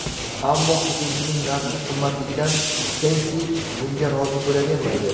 Ammo hujumchining narxi qimmatligidan Sensi bunga rozi bo‘lavermaydi.